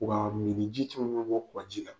Waa mininji caman bɛ bɔ kɔa ji la